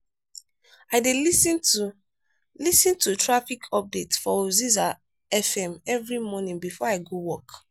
i dey lis ten to lis ten to traffic updates for oziza fm every morning before i go work.